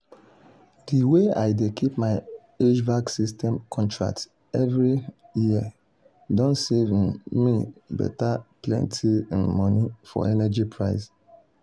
sarah rush go comot two thousand dollars go comot two thousand dollars wey um dey her savings to spend am for hospital waka.